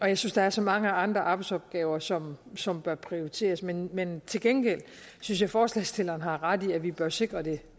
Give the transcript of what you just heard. jeg synes der er så mange andre arbejdsopgaver som som bør prioriteres men men til gengæld synes jeg forslagsstillerne har ret i at vi bør sikre det